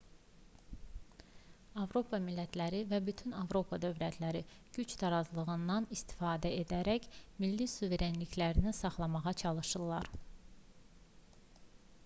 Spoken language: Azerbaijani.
avropa millətləri və bütün avropa dövlətləri güc tarazlığından istifadə edərək milli suverenliklərini saxlamağa çalışırlar